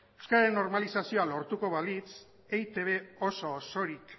euskararen normalizazioa lortuko balitz eitb oso osorik